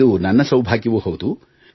ಇದು ನನ್ನ ಸೌಭಾಗ್ಯವೂ ಹೌದು